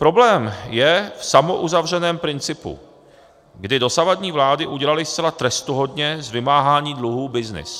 Problém je v samouzavřeném principu, kdy dosavadní vlády udělaly zcela trestuhodně z vymáhání dluhů byznys.